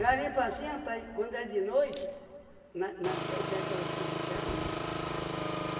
assim, rapaz, quando é de noite, na na te tem aquelas currutela, né?